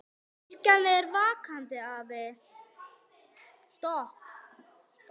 Kirkjan er vakandi afl.